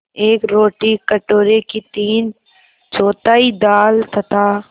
एक रोटी कटोरे की तीनचौथाई दाल तथा